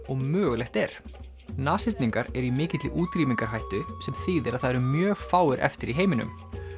og mögulegt er nashyrningar eru í mikilli útrýmingarhættu sem þýðir að það eru mjög fáir eftir í heiminum